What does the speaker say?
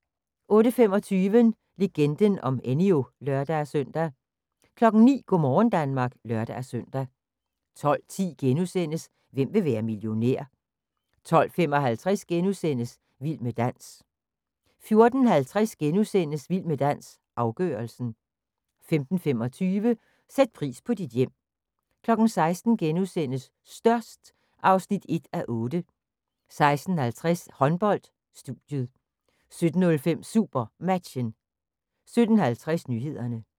08:25: Legenden om Enyo (lør-søn) 09:00: Go' morgen Danmark (lør-søn) 12:10: Hvem vil være millionær? * 12:55: Vild med dans * 14:50: Vild med dans – afgørelsen * 15:25: Sæt pris på dit hjem 16:00: Størst (1:8)* 16:50: Håndbold: Studiet 17:05: SuperMatchen 17:50: Nyhederne